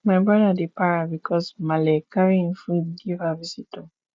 my brother dey para bicos maale carry im food give her visitor